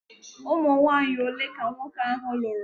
Ụmụnwanyị ole ka nwoke ahụ lụrụ?